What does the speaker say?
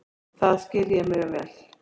Það skil ég mjög vel.